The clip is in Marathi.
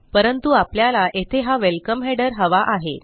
परंतु आपल्याला येथे हा वेलकम हेडर हवा आहे